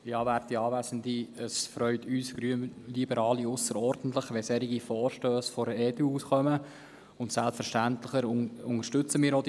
Es freut die Grünliberalen ausserordentlich, wenn solche Vorstösse von der EDU eingereicht werden, und selbstverständlich unterstützen wir sie.